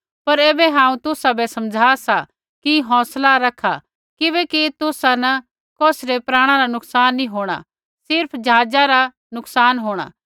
पर ऐबै हांऊँ तुसाबै समझा सा कि हौंसला रखा किबैकि तुसा न कौसी रै प्राणा रा नुकसान नी होंणा सिर्फ़ ज़हाज़ा रा नुकसान होंणा